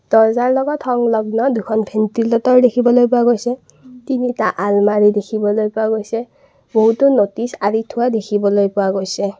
দৰ্জাৰ লগত সংলগ্ন দুখন ভেন্তিলেটৰ দেখিবলৈ পোৱা গৈছে তিনিটা অলমাৰি দেখিবলৈ পোৱা গৈছে বহুতো নতিছ আঁৰি থোৱা দেখিবলৈ পোৱা গৈছে।